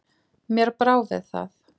Mér brá við það.